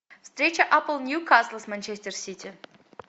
встреча апл ньюкасл с манчестер сити